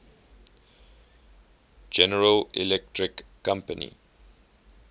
general electric company